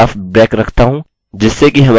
please fill in all fields